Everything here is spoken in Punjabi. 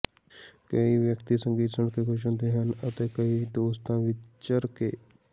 ਕਈ ਵਿਅਕਤੀ ਸੰਗੀਤ ਸੁਣ ਕੇ ਖ਼ੁਸ਼ ਹੁੰਦੇ ਹਨ ਅਤੇ ਕਈ ਦੋਸਤਾਂ ਵਿੱਚ ਵਿਚਰ ਕੇ